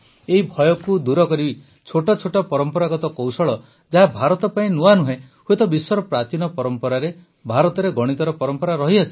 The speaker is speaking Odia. ଏହି ଭୟକୁ ଦୂର କରି ଛୋଟ ଛୋଟ ପରମ୍ପରାଗତ କୌଶଳ ଯାହା ଭାରତ ପାଇଁ ନୂଆ ନୁହଁ ହୁଏତ ବିଶ୍ୱର ପ୍ରାଚୀନ ପରମ୍ପରାରେ ଭାରତରେ ଗଣିତର ପରମ୍ପରା ରହିଆସିଛି